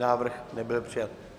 Návrh nebyl přijat.